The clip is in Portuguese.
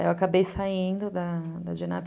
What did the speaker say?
Aí eu acabei saindo da da